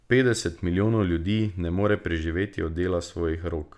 Petdeset milijonov ljudi ne more preživeti od dela svojih rok.